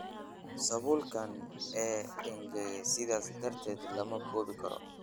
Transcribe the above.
Sawulkan uu engageee sidhas darateed lamakuwikaro.